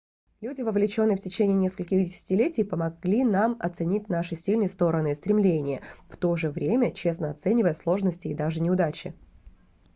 люди вовлеченные в течение нескольких десятилетий помогли нам оценить наши сильные стороны и стремления в то же время честно оценивая сложности и даже неудачи